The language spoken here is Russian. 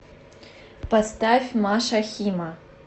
поставь маша хима